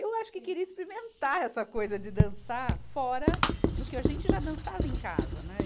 Eu acho que queria experimentar essa coisa de dançar fora do que a gente já dançava em casa, né. e